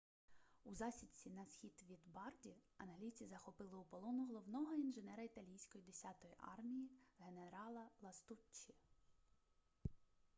у засідці на схід від барді англійці захопили у полон головного інженера італійської десятої армії генерала ластуччі